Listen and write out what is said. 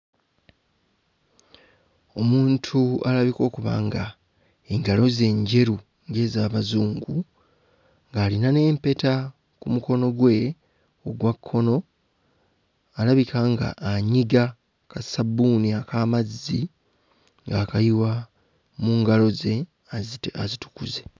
Omuntu alabika okuba nga engalo ze njeru ng'ez'Abazungu ng'alina n'empeta ku mukono gwe ogwa kkono, alabika ng'anyiga kassabbuuni ak'amazzi ng'akayiwa mu ngalo ze aziti azitukuze.